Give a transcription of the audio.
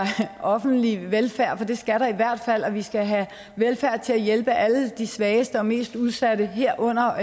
offentlig velfærd for det skal der i hvert fald og vi skal have velfærd til at hjælpe alle de svageste og mest udsatte herunder